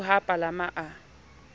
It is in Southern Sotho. eo ha a palama a